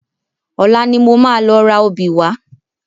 Ọ̀la ni mo máa lọ ra obì wá